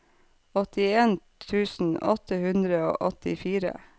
åttien tusen åtte hundre og åttifire